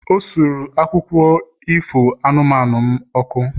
O suru akwụkwọ akụkọ ifo anụmanụ m ọkụ